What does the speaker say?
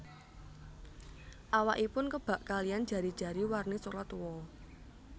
Awakipun kebak kaliyan jari jari warni coklat tua